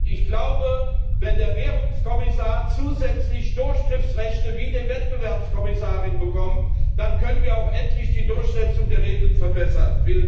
Ich glaube, wenn der Währungskommissar zusätzlich Durchgriffsrechte wie die Wettbewerbskommissarin bekommt, dann können wir auch endlich die Durchsetzung der Regeln verbessern.